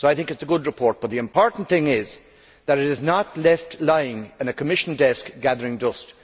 So it is a good report, but the important thing is that it is not left lying on a Commission desk gathering dust.